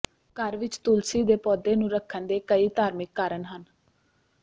ਘਰ ਵਿਚ ਤੁਲਸੀ ਦੇ ਪੌਦੇ ਨੂੰ ਰੱਖਣ ਦੇ ਕਈ ਧਾਰਮਿਕ ਕਾਰਨ ਹਨ